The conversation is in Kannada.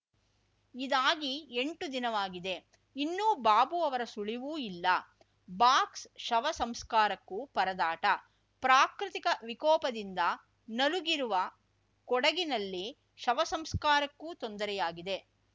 ಇದಾಗಿ ಎಂಟು ದಿನವಾಗಿದೆ ಇನ್ನೂ ಬಾಬು ಅವರ ಸುಳಿವೂ ಇಲ್ಲ ಬಾಕ್ಸ್ ಶವ ಸಂಸ್ಕಾರಕ್ಕೂ ಪರದಾಟ ಪ್ರಾಕೃತಿಕ ವಿಕೋಪದಿಂದ ನಲುಗಿರುವ ಕೊಡಗಿನಲ್ಲಿ ಶವ ಸಂಸ್ಕಾರಕ್ಕೂ ತೊಂದರೆಯಾಗಿದೆ